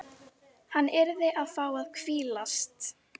Hann yrði að fá að hvílast.